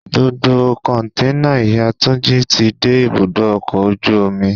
Gbogbo Kọ̀ǹténà ìyá Túnjí ti dé ibùdó ọkọ̀ ojú omi.